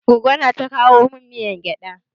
Goggo na ta kowa min miyar gyaɗa.